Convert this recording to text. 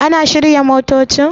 An shirya motocin?